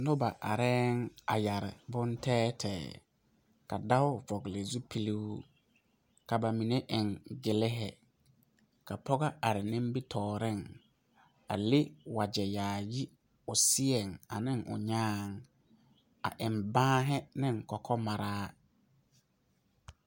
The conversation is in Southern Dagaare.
Noba areŋ a yɛre bon tɛɛtɛɛ, ka dao vɔgeli zupili ka ba mine eŋ gliri ka pɔge are nimitɔreŋ, a leŋ wagyɛ yaayi o seɛŋ ane o nyaaŋ a eŋ baare ane kɔkɔmaraa.